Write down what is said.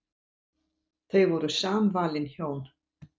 Þau voru samvalin hjón.